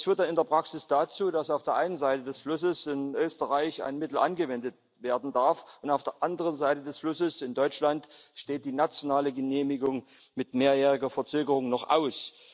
Das führt dann in der Praxis dazu, dass auf der einen Seite des Flusses in Österreich ein Mittel angewendet werden darf, und auf der anderen Seite des Flusses in Deutschland steht die nationale Genehmigung mit mehrjähriger Verzögerung noch aus.